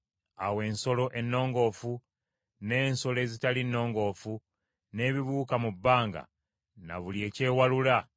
Era ensolo ennongoofu, n’ensolo ezitali nnongoofu n’ebibuuka mu bbanga na buli ekyewalula,